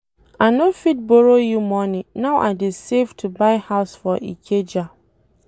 I no fit borrow you money now I dey save to buy house for Ikeja.